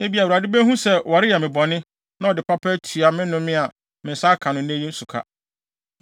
Ebia Awurade behu sɛ wɔreyɛ me bɔne, na ɔde papa atua me nnome a me nsa aka no nnɛ yi no so ka.”